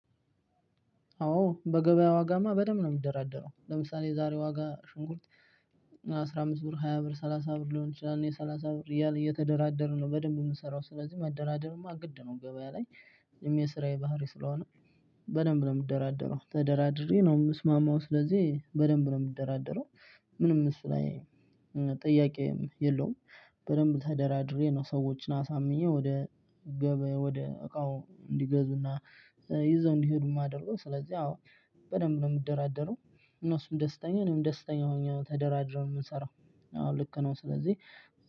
አዎ በገበያ ዋጋማ በደንብ ነው። የምደራደረው ለምሳሌ የዛሬ ዋጋ ሽንኩርት አስራ አምስት ብር ሃያ ብር ሰላሳ ብር ሊሆን ይችላል። የሰላሳ ብር እየተደራደርን ነው በደንብ የምንሰራው። ስለዚህ መደራደርማ ግድ ነው ገበያ ላይ። እኔም የስራዬ ባህሪ ስለሆነ በደንብ ነው የምደራደረው ተደራድሬ ነው የምስማማው። ስለዚህ በደንብ ነው የምትደራደረው ምንም እሱ ላይ ጥያቄ የለውም። በደንብ ተደራድሬ ነው ሰዎችን አሳምኜ ወደ ገበ ወደ እቃው እንዲገዙና ይዘው እንዲሄዱ የማደርገው። ስለዚህ አዎ በደንብ ነው የምደራደረው። እነሱም ደስተኛ እኔም ደስተኛ ሆኜ ነው ተደራድረን የምንሰራው። አዎ ልክ ነው። ስለዚህ